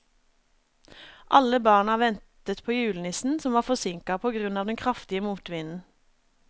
Alle barna ventet på julenissen, som var forsinket på grunn av den kraftige motvinden.